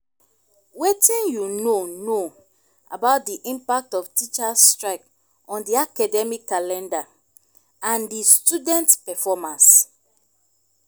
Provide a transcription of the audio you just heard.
wetin you know know about di impact of teachers' strike on di academic calendar and di students' performance?